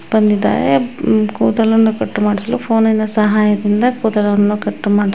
ಬಂದಿದ್ದಾರೆ ಉಹ್ ಕೂದಲನ್ನು ಕಟ್ ಮಾಡಿಸಲು ಫೋನಿನ ಸಹಾಯದಿಂದ ಕೂದಲನ್ನು ಕಟ್ ಮಾಡ್ಸ.